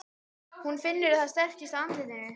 Hún finnur að það strekkist á andlitinu.